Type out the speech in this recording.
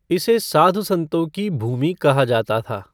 इसे साधु संतों की भूमि कहा जाता था।